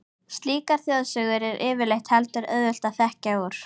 Slíkar þjóðsögur er yfirleitt heldur auðvelt að þekkja úr.